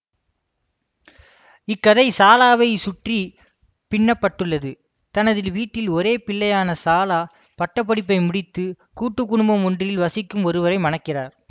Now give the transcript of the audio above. இக்கதை சாலாவைச் சுற்றி பின்னப்பட்டுள்ளது தனது வீட்டில் ஒரே பிள்ளையான சாலா பட்ட படிப்பை முடித்து கூட்டு குடும்பம் ஒன்றில் வசிக்கும் ஒருவரை மணக்கிறார்